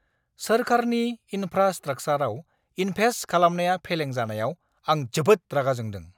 सोरखारनि इनफ्रास्ट्राकसारआव इनभेस्ट खालामनाया फेलें जानायाव, आं जोबोद रागा जोंदों!